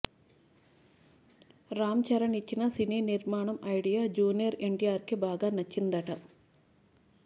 రామ్ చరణ్ ఇచ్చిన సినీ నిర్మాణం ఐడియా జూనియర్ ఎన్టీఆర్కి బాగా నచ్చిందట